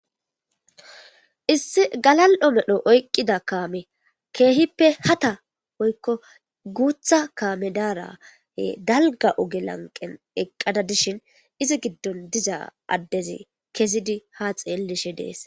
issi galal'o medho oyqqida kaame keehippe hata woykko guutha kaame daarahe dalga oge lanqen eqqada dishin izi giddon diza addezi kezidi ha xeellishe dees